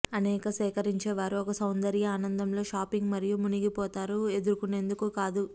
అనేక సేకరించేవారు ఒక సౌందర్య ఆనందం లో షాపింగ్ మరియు మునిగిపోతారు ఎదుర్కొనేందుకు కాదు